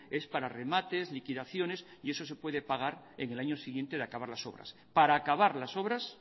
es para remates liquidaciones y eso se puede pagar en el año siguiente de acabar las obras para acabar las obras